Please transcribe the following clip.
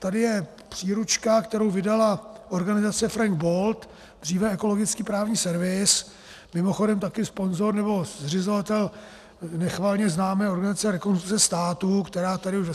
Tady je příručka , kterou vydala organizace Frank Bold, dříve Ekologický právní servis, mimochodem také sponzor nebo zřizovatel nechvalně známé organizace Rekonstrukce státu, která tady už ve